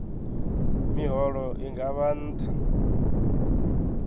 miholo i nga vha nṱha